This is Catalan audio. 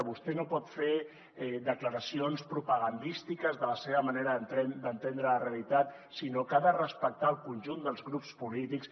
vostè no pot fer declaracions propagandístiques de la seva manera d’entendre la realitat sinó que ha de respectar el conjunt dels grups polítics